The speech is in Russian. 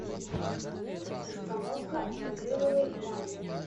установка акриловой ванны